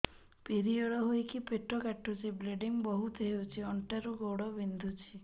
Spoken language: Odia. ପିରିଅଡ଼ ହୋଇକି ପେଟ କାଟୁଛି ବ୍ଲିଡ଼ିଙ୍ଗ ବହୁତ ହଉଚି ଅଣ୍ଟା ରୁ ଗୋଡ ବିନ୍ଧୁଛି